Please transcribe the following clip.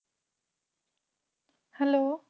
Hello